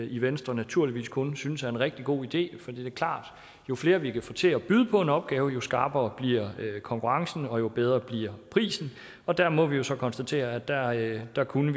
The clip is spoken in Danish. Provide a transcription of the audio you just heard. i venstre naturligvis kun synes er en rigtig god idé for det er klart at jo flere vi kan få til at byde på en opgave jo skarpere bliver konkurrencen og jo bedre bliver prisen og der må vi jo så konstatere at der at der kunne